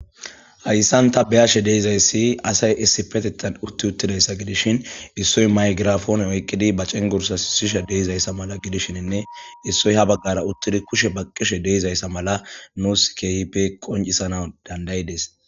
Hayssan ta be'ashe de'izayssi asay issipetetan utti uttidayssa gidishin issoy maygirafoone oykqidi ba cengursa sisha de'izayssa mala gidishininne issoy ha bagqara uttidi kushe baqqishe de'izayssa mala nuus keehipe qoncisana dandayides.